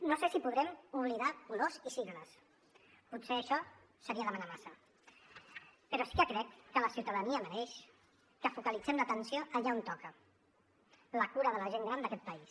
no sé si podrem oblidar colors i sigles potser això seria demanar massa però sí que crec que la ciutadania mereix que focalitzem l’atenció allà on toca la cura de la gent gran d’aquest país